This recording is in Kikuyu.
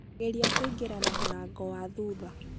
Geria kuĩngĩra na mũrango wa thutha.